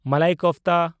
ᱢᱟᱞᱟᱭ ᱠᱳᱯᱷᱛᱟ